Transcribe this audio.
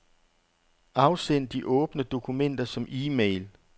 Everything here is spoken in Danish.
Afsend de åbne dokumenter som e-mail.